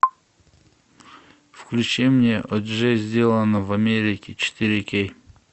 включи мне о джей сделано в америке четыре кей